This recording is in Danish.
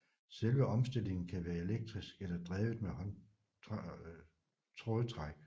Selve omstillingen kan være elektrisk eller drevet med trådtræk